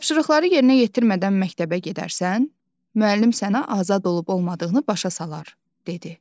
Tapşırıqları yerinə yetirmədən məktəbə gedərsən, müəllim sənə azad olub-olmadığını başa salar, dedi.